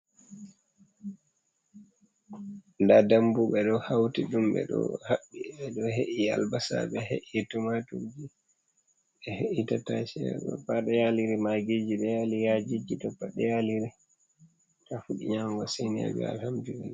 Nda dambu ɓe ɗo hauti ɗum BBCe d habbi be do he’i albasa be he’i tomatuji be he’ittc pade yaliri magiji do yali yajiji do pade yaliri ta fudi nyama sanajo a hambia